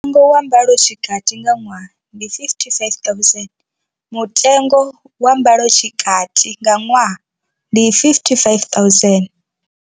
Mutengo wa mbalotshikati nga ṅwaha ndi R55 000. Mutengo wa mbalotshikati nga ṅwaha ndi R55 000.